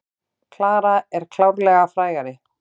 Klara er klárlega frægari.